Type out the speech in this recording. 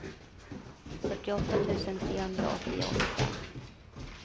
fyrtioåtta tusen trehundraåttioåtta